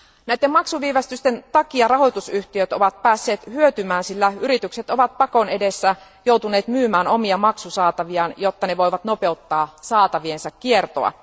Näiden maksuviivästysten takia rahoitusyhtiöt ovat päässeet hyötymään, sillä yritykset ovat pakon edessä joutuneet myymään omia maksusaataviaan, jotta ne voivat nopeuttaa saataviensa kiertoa.